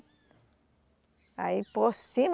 Aí por cima